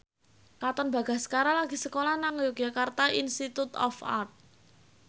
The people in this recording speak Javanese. Katon Bagaskara lagi sekolah nang Yogyakarta Institute of Art